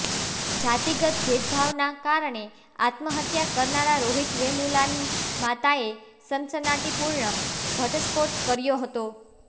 જાતિગત ભેદભાવના કારણે આત્મહત્યા કરનારા રોહિત વેમુલાની માતાએ સનસનાટીપૂર્ણ ઘટસ્ફોટ કર્યો હતો